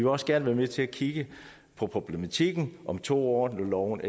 også gerne være med til at kigge på problematikken om to år når loven